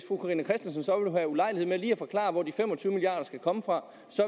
have ulejlighed med lige at forklare hvor de fem og tyve milliard kroner skal komme fra